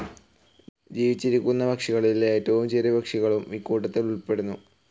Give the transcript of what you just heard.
ജീവിച്ചിരിക്കുന്ന പക്ഷികളിൽ ഏറ്റവും ചെറിയ പക്ഷികളും ഇക്കൂട്ടത്തിൽ ഉൾപ്പെടുന്നു.